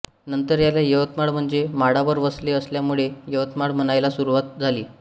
नंतर याला यवतमाळ म्हणजे माळावर वसले असल्या मुळे यवतमाळ म्हणायला सुरवात झाली